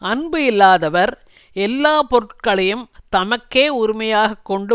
அன்பு இல்லாதவர் எல்லாப்பொருள்களையும் தமக்கே உரிமையாகக் கொண்டு